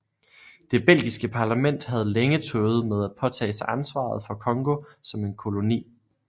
Det belgiske parlament havde længe tøvet med at påtage sig ansvaret for Congo som en koloni